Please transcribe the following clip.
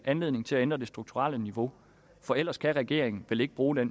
anledning til at ændre det strukturelle niveau for ellers kan regeringen vel ikke bruge